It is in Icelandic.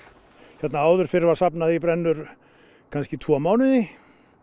hérna áður fyrr var safnað í brennur kannski tvo mánuði